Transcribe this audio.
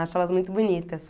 Acho elas muito bonitas.